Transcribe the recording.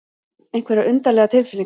Einhverjar undarlegar tilfinningar.